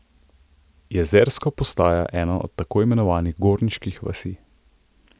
Jezersko postaja ena od tako imenovanih Gorniških vasi.